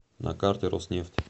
на карте роснефть